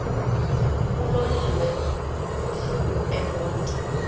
uloliwe ukusuk emontini